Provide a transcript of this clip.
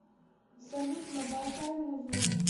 салют набалтай музон